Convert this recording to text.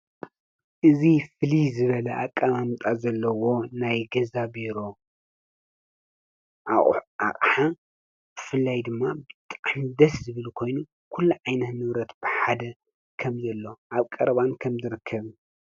እዚ ፍልይ ዝበለ አቀማምጣ ዘለዎ ናይ ገዛ ቢሮ ኣቅሑ ኣቅሓ ብፍላይ ድማ ብጣዕሚ ደስ ዝብል ኮይኑ ኩሉ ዓይነት ንብረት ብሓደ ከምዘሎ ኣብ ቀረባ ከምዝርከብን፡፡